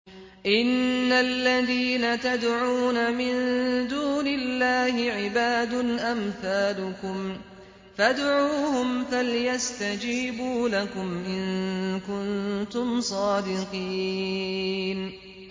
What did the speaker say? إِنَّ الَّذِينَ تَدْعُونَ مِن دُونِ اللَّهِ عِبَادٌ أَمْثَالُكُمْ ۖ فَادْعُوهُمْ فَلْيَسْتَجِيبُوا لَكُمْ إِن كُنتُمْ صَادِقِينَ